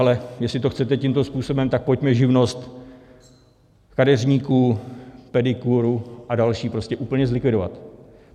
Ale jestli to chcete tímto způsobem, tak pojďme živnost kadeřníků, pedikérů a dalších prostě úplně zlikvidovat.